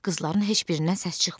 Qızların heç birindən səs çıxmadı.